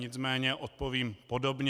Nicméně odpovím podobně.